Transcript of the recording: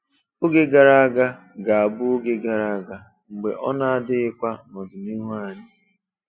Oge gara aga ga-abụ oge gara aga, mgbe ọ na-adịkwaghị n'ọdịnihu anyị.